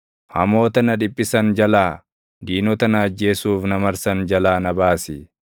hamoota na dhiphisan jalaa, diinota na ajjeesuuf na marsan jalaa na baasi.